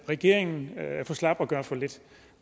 at regeringen er for slap og gør for lidt